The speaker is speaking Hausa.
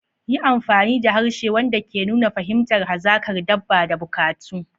Yi amfani da harshe wanda ke nuna fahimtar hazakar dabba da bukatu.